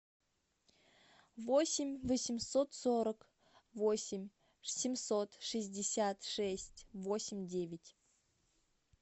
восемь восемьсот сорок восемь семьсот шестьдесят шесть восемь девять